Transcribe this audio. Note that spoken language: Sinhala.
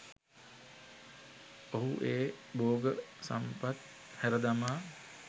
ඔහු ඒ භෝග සම්පත් හැර දමා